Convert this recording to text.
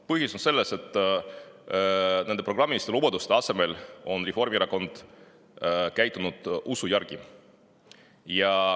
Põhjus on selles, et nende programmiliste lubaduste asemel on Reformierakond käitunud usu järgi.